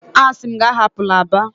Asi m gi ahapula Aba!